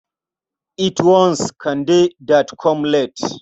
It was Kande that come late.